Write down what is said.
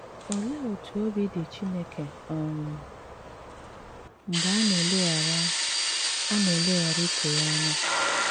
Óléé ótú òbí dị Chíńéké um mgbẹ́ á ná-éleghárà á ná-éleghárà ùchè yá ányà?